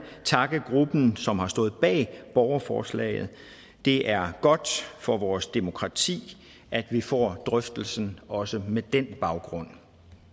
takke gruppen som har stået bag borgerforslaget det er godt for vores demokrati at vi får drøftelsen også med den baggrund